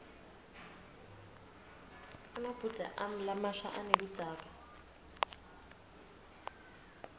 emabhudze ami lamasha aneludzaka